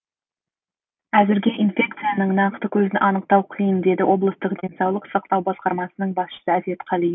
әзірге инфекцияның нақты көзін анықтау қиын дейді облыстық денсаулық сақтау басқармасының басшысы әсет қалиев